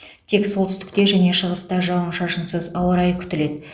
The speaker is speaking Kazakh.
тек солтүстікте және шығыста жауын шашынсыз ауа райы күтіледі